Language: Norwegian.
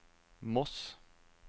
Moss